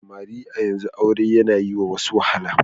Samari a yanzu aure yana yi wa wasu wahala.